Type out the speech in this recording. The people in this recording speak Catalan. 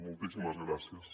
moltíssimes gràcies